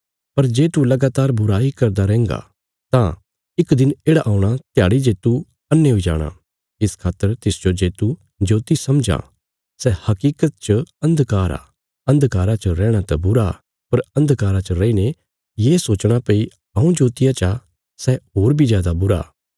पर जे तू लगातार बुराई करदा रैहन्गा तां इक दिन येढ़ा औणा ध्याड़ी जे तू अन्हे हुई जाणा इस खातर तिसजो जे तू ज्योति समझां सै हकीकत च अन्धकार आ अन्धकारा च रैहणा त बुरा पर अन्धकारा च रैईने ये सोचणा भई हऊँ ज्योतिया चा सै होर बी जादा बुरा